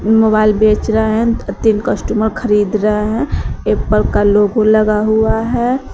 Mobile बेच रहा है तीन कस्टमर खरीद रहा है एप्पल का लोगो लगा हुआ है।